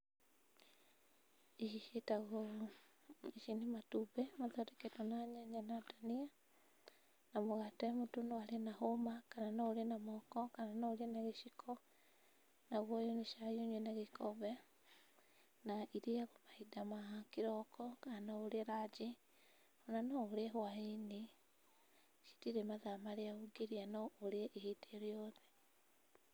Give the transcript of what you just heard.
Ici ciĩtagwo ici nĩ matumbĩ mathondeketwo na nyanya na dania na mũgate mũndũ no arĩe na hũma kana na noũrĩe na moko kana ũrĩe na gĩciko, naguo ũyũ nĩ cai ũnyue na gĩkombe na irĩagwo mahinda ma kĩroko kana no ũrĩe ranji ona no ũrĩe whainĩ. Citirĩ mathaa marĩa ũngĩrĩa no ũrĩe ihinda rĩothe.